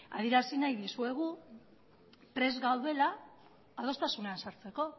adierazi nahi dizuegu prest gaudela adostasunean sartzeko